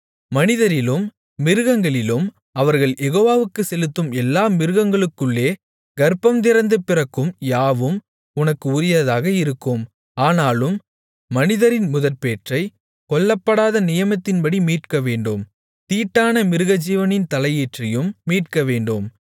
மனிதரிலும் மிருகங்களிலும் அவர்கள் யெகோவாவுக்குச் செலுத்தும் எல்லா மிருகங்களுக்குள்ளே கர்ப்பந்திறந்து பிறக்கும் யாவும் உனக்கு உரியதாக இருக்கும் ஆனாலும் மனிதரின் முதற்பேற்றை கொல்லப்படாத நியமத்தின்படி மீட்கவேண்டும் தீட்டான மிருகஜீவனின் தலையீற்றையும் மீட்கவேண்டும்